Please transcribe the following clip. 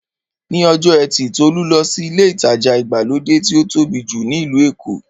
Ní ọjọ́ ẹtì Tolú lọ sí ilé ìtajà ìgbàlódé tí ó tóbi jù ní ìlú Èkó.